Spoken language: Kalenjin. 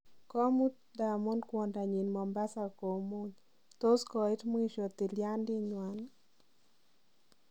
Komut Diamond Kwondanyin Mombasa komuny tos Koiit mwiishoo tilyandit nywan?